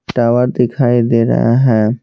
Tower दिखाई दे रहा है।